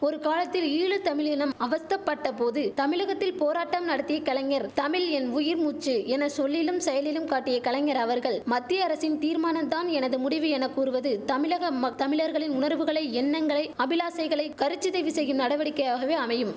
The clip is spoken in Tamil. ஒரு காலத்தில் ஈழ தமிழீனம் அவஸ்த்தப்பட்ட போது தமிழகத்தில் போராட்டம் நடத்தி கலைஞர் தமிழ் என் உயிர் மூச்சு என சொல்லிலும் செயலிலும் காட்டிய கலைஞர் அவர்கள் மத்திய அரசின் தீர்மானம் தான் எனது முடிவு என கூறுவது தமிழக மக் தமிழர்களின் உணர்வுகளை எண்ணங்களை அபிலாசைகளைக் கருச்சிதைவு செய்யும் நடவடிக்கையாகவே அமையும்